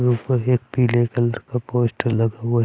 और ऊपर एक पीले कलर का पोस्टर लगा हुआ--